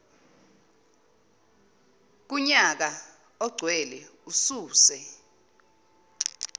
kunyaka ogcwele ususe